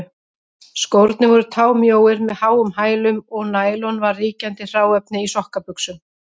Skórnir voru támjóir með háum hælum, og nælon var ríkjandi hráefni í sokkabuxum.